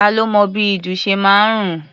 Ta lo mọ bí ìdun ṣe máa ń rùn?